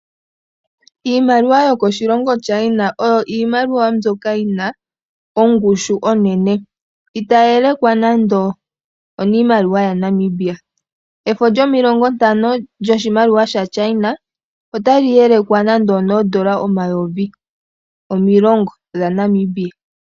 Iimaliwa yokoshilongo China oyo iimaliwa mbyoka yina ongushu onene itayi elekwa nando oniimaliwa yaNamibia efo lyomulongo ntano lyoshimaliwa shaChina otali elekwa nande onoondola omayovi omilongo dhaNamibia .